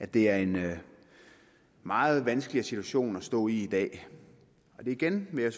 det er en meget vanskeligere situation at stå i dag igen vil jeg